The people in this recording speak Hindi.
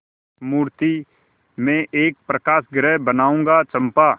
मृति में एक प्रकाशगृह बनाऊंगा चंपा